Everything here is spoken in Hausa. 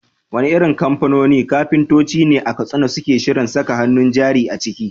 Wane irin kamfanoni kafintoci ne a Katsina suke shirin saka hannun jari a ciki?